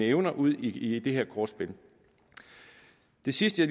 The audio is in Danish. evner udi det her kortspil det sidste